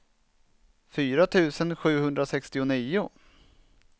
fyra tusen sjuhundrasextionio